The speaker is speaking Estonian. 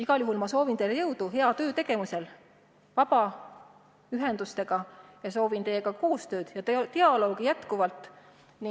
Igal juhul soovin ma teile jõudu vabaühendustega hea töö tegemisel ning soovin teiega koostööd ja dialoogi jätkata.